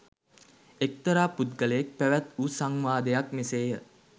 එක්තරා පුද්ගලයෙක් පැවැත් වූ සංවාදයක් මෙසේය.